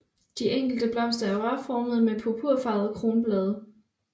De enkelte blomster er rørformede med purpurfarvede kronblade